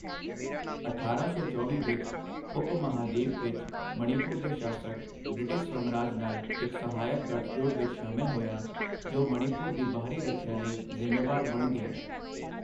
ਅਠਾਰਾਂ ਸੌ ਚੌਵੀ ਵਿੱਚ, ਉਪ ਮਹਾਂਦੀਪ ਵਿੱਚ ਮਣੀਪੁਰ ਦੇ ਸ਼ਾਸਕ ਬ੍ਰਿਟਿਸ਼ ਸਾਮਰਾਜ ਨਾਲ ਇੱਕ ਸਹਾਇਕ ਗੱਠਜੋੜ ਵਿਚ ਸ਼ਾਮਿਲ ਹੋਇਆ, ਜੋ ਮਣੀਪੁਰ ਦੀ ਬਾਹਰੀ ਰੱਖਿਆ ਲਈ ਜ਼ਿੰਮੇਵਾਰ ਬਣ ਗਿਆ।